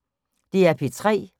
DR P3